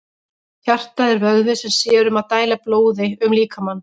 Hjartað er vöðvi sem sér um að dæla blóði um líkamann.